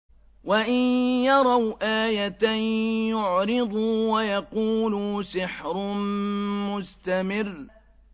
وَإِن يَرَوْا آيَةً يُعْرِضُوا وَيَقُولُوا سِحْرٌ مُّسْتَمِرٌّ